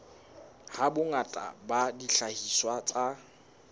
ha bongata ba dihlahiswa tsa